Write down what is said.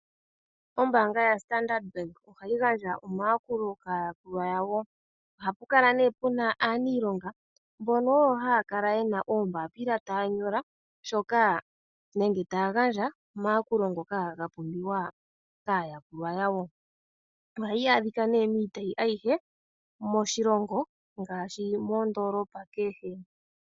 Ombaanga ya standard bank ohayi gandja omayakulo kaayakulwa yawo ohapu kala nee puna aaniilonga mbo oyo haya kala yena oombaapila taya nyola shoka nenge taya gandja omayakulo ngoka ga pumbiwa kaayakulwa yawo. Ohayi adhikwa nee miitopolwa ayihe moshilongo ngaashi moondoolopa kehe.